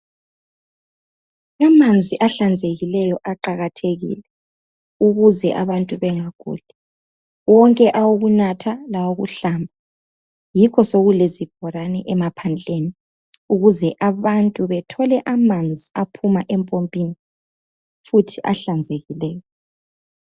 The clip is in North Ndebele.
amanzi ahlanzekileyo aqakathekile ukuze abantu bengaguli wonke awokunatha lawokuhlamba yikho sekulezibhorane emaphandleni ukuze abantu bathole amanzi aphuma empompini futhi ahlanzekileyo